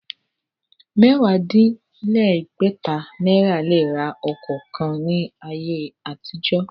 Mẹ́wàá-dín-légbẹ̀ta náírà lè ra ọkọ̀ ńlá kan ní ayé àtijọ́.